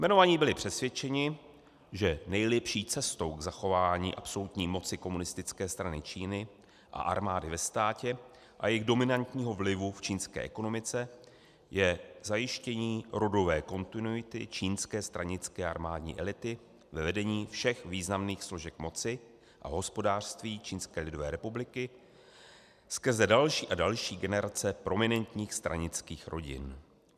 Jmenovaní byli přesvědčeni, že nejlepší cestou k zachování absolutní moci Komunistické strany Číny a armády ve státě a jejich dominantního vlivu v čínské ekonomice je zajištění rodové kontinuity čínské stranické armádní elity ve vedení všech významných složek moci a hospodářství Čínské lidové republiky skrze další a další generace prominentních stranických rodin.